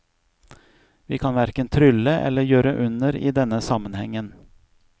Vi kan hverken trylle eller gjøre under i denne sammenhengen.